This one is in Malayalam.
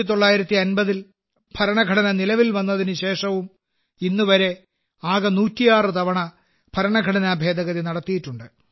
1950ൽ ഭരണഘടന നിലവിൽ വന്നതിന് ശേഷവും ഇന്നുവരെ ആകെ 106 തവണ ഭരണഘടന ഭേദഗതി നടത്തിയിട്ടുണ്ട്